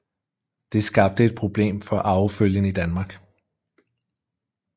Det skabte et problem for arvefølgen i Danmark